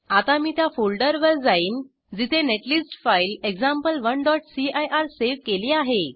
आता मी त्या फोल्डरवर जाईन जिथे नेटलिस्ट फाईल example1सीआयआर सेव केली आहे